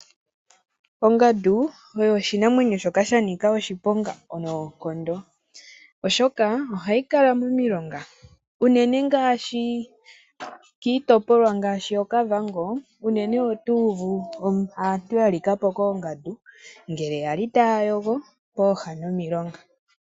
Ongadu oyo oshinamwenyo shoka shanika oshiponga noonkondo, oshoka ohayi kala momilonga unene ngaashi kiitopolwa ngaashi yokavango unene otuuvu aantu yalikapo koongadu ngele yali taayogo kooha dhomilonga.